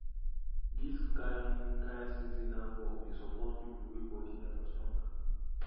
this kind kind seasonal work dey support people wey body never strong